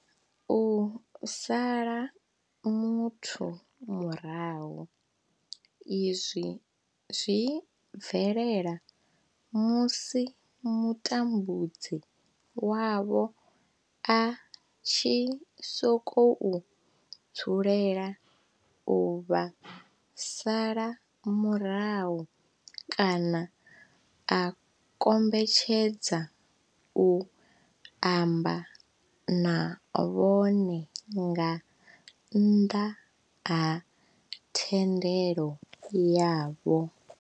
U sala muthu murahu, izwi zwi bvelela musi mutambudzi wavho a tshi sokou dzulela u vha sala murahu kana a kombetshedza u amba na vhone nga nnḓa ha thendelo yavho.